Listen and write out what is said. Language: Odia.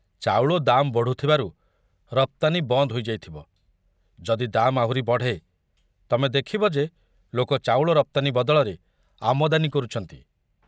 ଚାଉଳ ଦାମ ବଢ଼ୁଥିବାରୁ ରପ୍ତାନୀ ବନ୍ଦ ହୋଇ ଯାଇଥିବ, ଯଦି ଦାମ ଆହୁରି ବଢ଼େ, ତମେ ଦେଖିବ ଯେ ଲୋକ ଚାଉଳ ରପ୍ତାନୀ ବଦଳରେ ଆମଦାନୀ କରୁଛନ୍ତି।